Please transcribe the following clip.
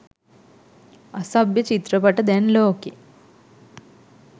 අසභ්‍ය චිත්‍රපට දැන් ලෝකෙ